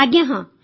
ଆଜ୍ଞା ହଁ